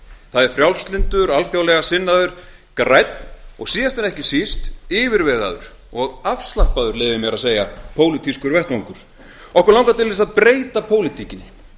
það er frjálslyndur alþjóðlega sinnaður grænn og síðast en ekki síst yfirvegaður og afslappaður pólitískur vettvangur okkur langar til þess að breyta pólitíkinni